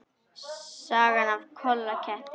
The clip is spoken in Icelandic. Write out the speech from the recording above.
Sagan af Kolla ketti.